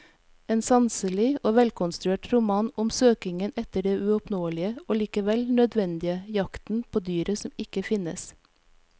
En sanselig og velkonstruert roman om søkingen etter det uoppnåelige og likevel nødvendige, jakten på dyret som ikke finnes.